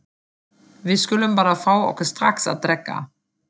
Við skulum bara fá okkur strax að drekka.